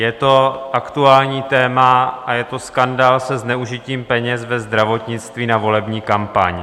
Je to aktuální téma a je to skandál se zneužitím peněz ve zdravotnictví na volební kampaň.